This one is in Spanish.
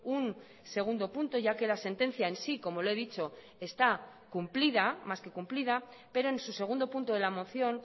un segundo punto ya que la sentencia en sí como le he dicho está cumplida más que cumplida pero en su segundo punto de la moción